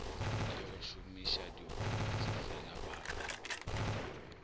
le go šomišadiokobatši felabaga ba